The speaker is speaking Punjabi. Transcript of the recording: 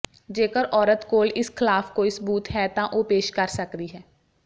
ਜੇਕਰ ਔਰਤ ਕੋਲ ਇਸ ਖਲਾਫ ਕੋਈ ਸਬੁਤ ਹੈ ਤਾਂ ਉਹ ਪੇਸ਼ ਕਰ ਸਕਦੀ ਹੈ